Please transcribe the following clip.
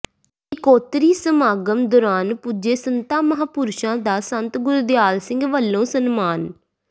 ਇਕੋਤਰੀ ਸਮਾਗਮ ਦੌਰਾਨ ਪੁੱਜੇ ਸੰਤਾਂ ਮਹਾਂਪੁਰਸ਼ਾਂ ਦਾ ਸੰਤ ਗੁਰਦਿਆਲ ਸਿੰਘ ਵਲੋਂ ਸਨਮਾਨ